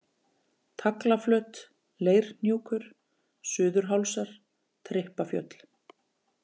Taglaflöt, Leirhnjúkur, Suður-Hálsar, Trippafjöll